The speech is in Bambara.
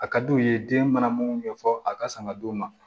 A ka d'u ye den mana minnu bɛ fɔ a ka sanga d'u ma